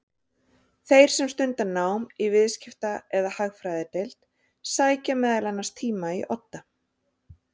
Þeir sem stunda nám í Viðskipta- eða Hagfræðideild sækja meðal annars tíma í Odda.